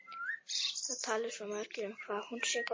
Það tali svo margir um hvað hún sé góð.